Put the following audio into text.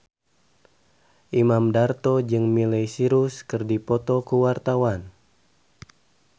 Imam Darto jeung Miley Cyrus keur dipoto ku wartawan